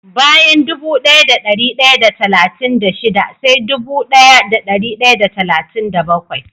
Bayan dubu daya da dari daya da talatin da shida sai dubu daya da dari daya da talatin da bakwai